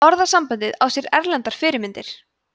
orðasambandið á sér erlendar fyrirmyndir